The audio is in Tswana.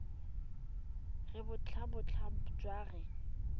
re bontlhabongwe jwa re a